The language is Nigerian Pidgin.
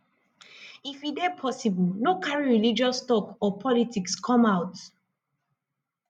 if e dey possible no carry religious talk or politics come out